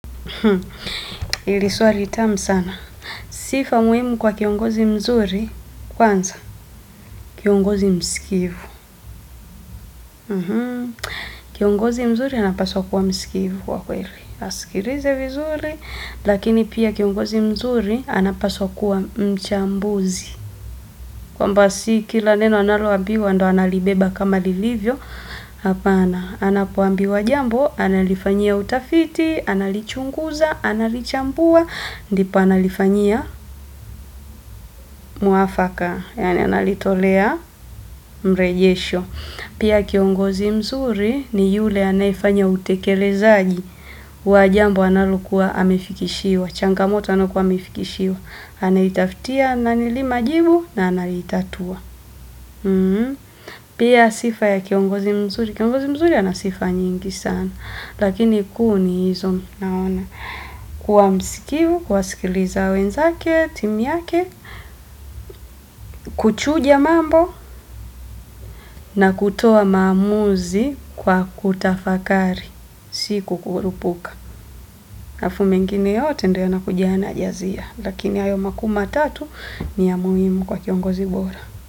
Hili swali tamu sana sifa muhimu kwa kiongozi mzuri, kwanza kiongozi msikivu. Kiongozi mzuri anapaswa kuwa msikivu kwa kweli. Asikilize vizuri lakini pia kiongozi mzuri anapaswa kuwa mchambuzi. Kwamba si kila neno analoambiwa ndo analibeba kama lilivyo, hapana, anapoambiwa jambo, analifanyia utafiti, analichunguza, analichambua, ndipo analifanyia mwafaka, yaani analitolea mrejesho. Pia kiongozi mzuri ni yule anafanya utekelezaji, wa jambo analokuwa amefikishiwa, changamoto anayokuwa amefikishiwa, anaitafutia na majibu na anaitatua. Pia sifa ya kiongozi mzuri, kiongozi mzuri ya ana sifa nyingi sana lakini kuu ni hizo naona kuwa msikivu, kuwasikiliza wenzake, timu yake. Kuchuja mambo na kutoa maamuzi kwa kutafakari si kukurupuka alafu mengine yote ndio yanakuja yanajazia lakini hayo makuu matatu ni ya muhimu kwa kiongozi bora.